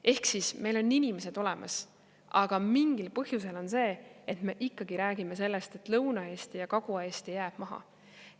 Ehk meil on inimesed olemas, aga mingil põhjusel on nii, et me ikkagi räägime sellest, et Lõuna-Eesti ja Kagu-Eesti jäävad maha.